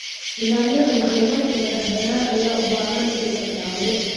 Nidaamyada macluumaadka madax-bannaan ayaa u baahan in la ilaaliyo.